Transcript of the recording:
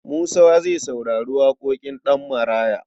Musa zai saurari waƙoƙin Ɗanmaraya.